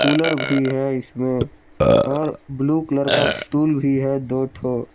Cooler भी है इसमें और ब्लू कलर का स्टूल भी है दो ठो।